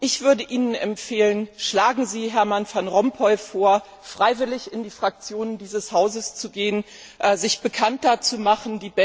Ich würde Ihnen empfehlen Schlagen sie Herman Van Rompuy vor, freiwillig in die Fraktionen dieses Hauses zu gehen, sich bekannter zu machen.